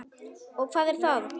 Og hvað er það?